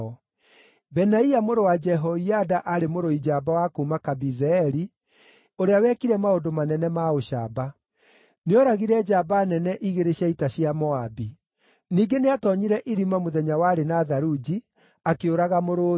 Benaia mũrũ wa Jehoiada aarĩ mũrũi njamba wa kuuma Kabizeeli, ũrĩa wekire maũndũ manene ma ũcamba. Nĩooragire njamba nene igĩrĩ cia ita cia Moabi. Ningĩ nĩatoonyire irima mũthenya warĩ na tharunji, akĩũraga mũrũũthi.